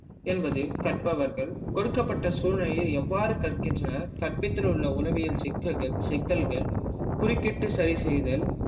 என்பது கற்பவர்கள் கொடுக்கப்பட்ட சூழ்நிலையை எவ்வாறு கற்கின்றனர் கற்பித்தல் உள்ள உளவியல் சிக்கல்கள் சிக்கல்கள் குறுக்கிட்டு சரி செய்தல்